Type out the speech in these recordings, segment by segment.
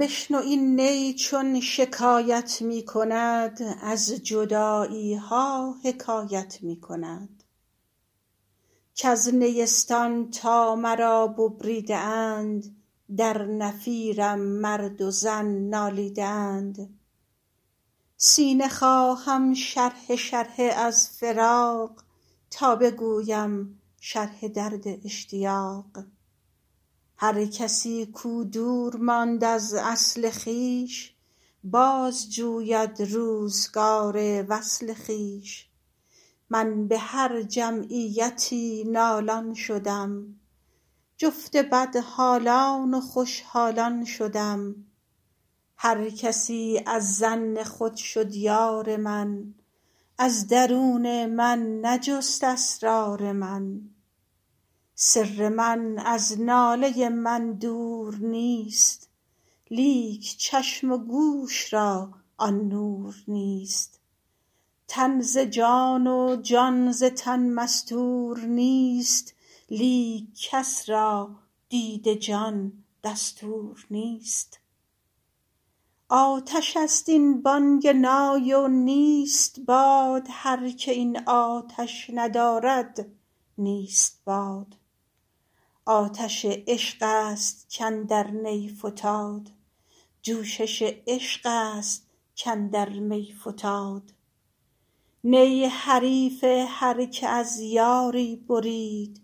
بشنو این نی چون شکایت می کند از جدایی ها حکایت می کند کز نیستان تا مرا ببریده اند در نفیرم مرد و زن نالیده اند سینه خواهم شرحه شرحه از فراق تا بگویم شرح درد اشتیاق هر کسی کو دور ماند از اصل خویش باز جوید روزگار وصل خویش من به هر جمعیتی نالان شدم جفت بدحالان و خوش حالان شدم هر کسی از ظن خود شد یار من از درون من نجست اسرار من سر من از ناله من دور نیست لیک چشم و گوش را آن نور نیست تن ز جان و جان ز تن مستور نیست لیک کس را دید جان دستور نیست آتش است این بانگ نای و نیست باد هر که این آتش ندارد نیست باد آتش عشق است کاندر نی فتاد جوشش عشق است کاندر می فتاد نی حریف هر که از یاری برید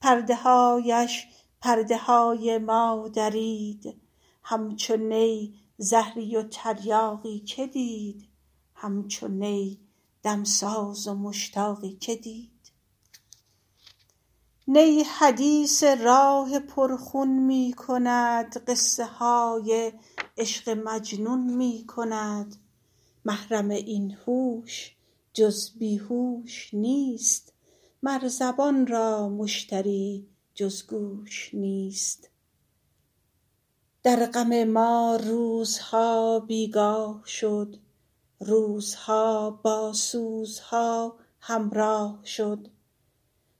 پرده هایش پرده های ما درید همچو نی زهری و تریاقی که دید همچو نی دمساز و مشتاقی که دید نی حدیث راه پر خون می کند قصه های عشق مجنون می کند محرم این هوش جز بی هوش نیست مر زبان را مشتری جز گوش نیست در غم ما روزها بیگاه شد روزها با سوزها همراه شد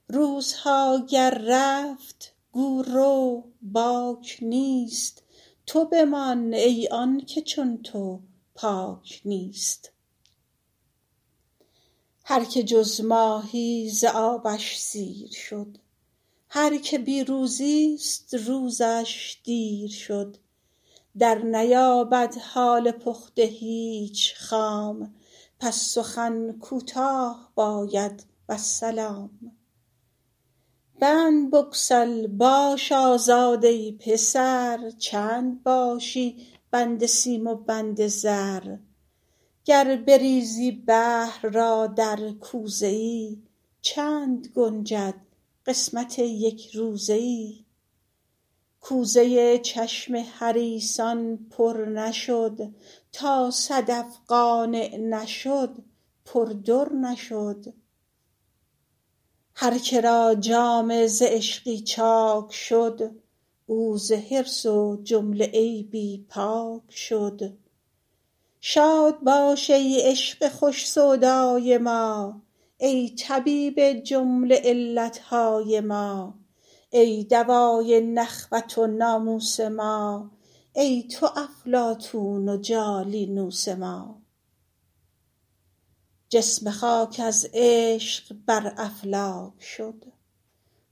روزها گر رفت گو رو باک نیست تو بمان ای آنکه چون تو پاک نیست هر که جز ماهی ز آبش سیر شد هر که بی روزی ست روزش دیر شد در نیابد حال پخته هیچ خام پس سخن کوتاه باید والسلام بند بگسل باش آزاد ای پسر چند باشی بند سیم و بند زر گر بریزی بحر را در کوزه ای چند گنجد قسمت یک روزه ای کوزه چشم حریصان پر نشد تا صدف قانع نشد پر در نشد هر که را جامه ز عشقی چاک شد او ز حرص و عیب کلی پاک شد شاد باش ای عشق خوش سودای ما ای طبیب جمله علت های ما ای دوای نخوت و ناموس ما ای تو افلاطون و جالینوس ما جسم خاک از عشق بر افلاک شد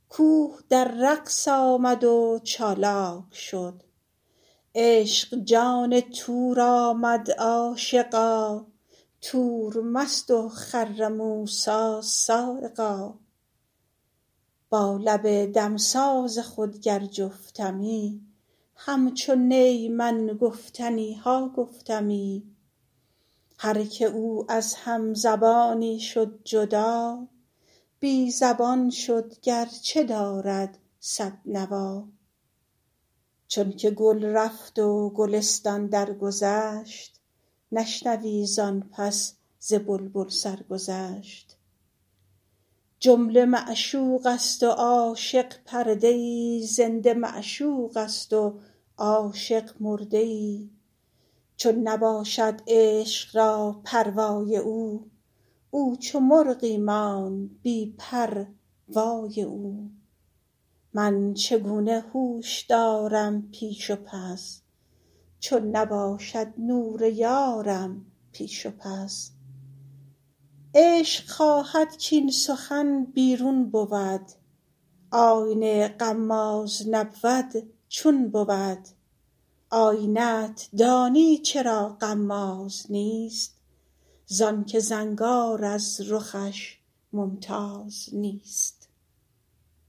کوه در رقص آمد و چالاک شد عشق جان طور آمد عاشقا طور مست و خر موسیٰ‏ صعقا با لب دمساز خود گر جفتمی همچو نی من گفتنی ها گفتمی هر که او از هم زبانی شد جدا بی زبان شد گر چه دارد صد نوا چون که گل رفت و گلستان درگذشت نشنوی زآن پس ز بلبل سرگذشت جمله معشوق است و عاشق پرده ای زنده معشوق است و عاشق مرده ای چون نباشد عشق را پروای او او چو مرغی ماند بی پر وای او من چگونه هوش دارم پیش و پس چون نباشد نور یارم پیش و پس عشق خواهد کاین سخن بیرون بود آینه غماز نبود چون بود آینه ت دانی چرا غماز نیست زآن که زنگار از رخش ممتاز نیست